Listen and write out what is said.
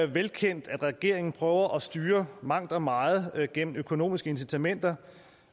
velkendt at regeringen prøver at styre mangt og meget gennem økonomiske incitamenter